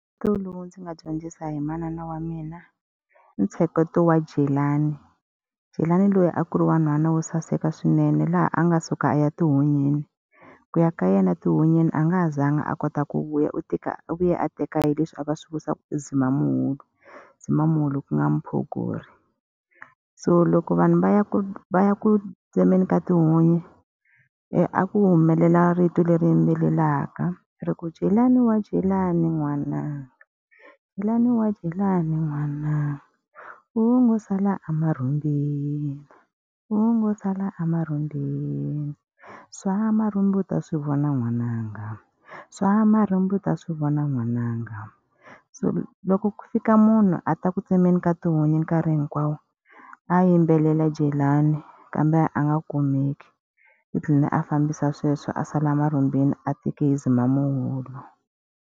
lowu ndzi nga dyondzisa hi manana wa mina i ntsheketo wa Jelani. Jelani loyi a ku ri wa nhwana wo saseka swinene laha a nga suka a ya etihunyini. Ku ya ka yena etihunyini a nga ha zanga a kota ku vuya, u u vuya a teka hi leswi a va swi vita ku i Zimamuhulu, Zimamuhulu ku nga mphogori. So loko vanhu va ya ku va ya ku tsemeni ka tihunyi, a ku humelela rito leri yimbelelaka, ri ku Jelani wa Jelani n'wana, Jelani wa Jelani n'wana, u ngo sala emarhumbini, u ngo sala emarhumbini, swa marhumbi u ta swi vona n'wananga, swa marhumbi u ta swi vona n'wananga. So loko ku fika munhu a ta ku tsemeni ka tihunyi nkarhi hinkwawo a yimbelela Jelani kambe a nga kumeki. u ndhline a fambisa sweswo a sala emarhumbini a teke hi Zimamuhulu.